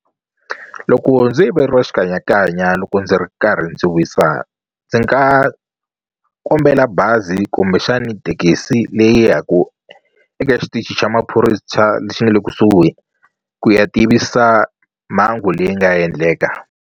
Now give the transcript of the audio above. Loko ndzo yiveriwa xikanyakanya loko ndzi ri karhi ndzi wisa ndzi nga kombela bazi kumbexani thekisi leyi ya ku eka xitichi xa lexi nga le kusuhi ku ya tivisa mhangu leyi nga endleka.